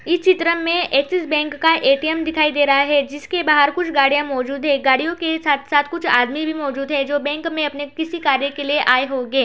इ चित्र में एक्सिस बैंक का ए.टी.एम दिख रहा है। जिसके बाहर गाड़ियाँ मौजुद है गड़ियों के साथ-साथ कुछ आदमी भी मौजुद है जो बैंक में अपने किसी काम के लिए आए होंगे।